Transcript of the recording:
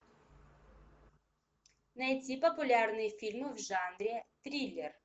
найти популярные фильмы в жанре триллер